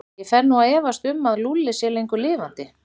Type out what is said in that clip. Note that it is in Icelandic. Ég fer nú að efast um að Lúlli sé lengur lifandi.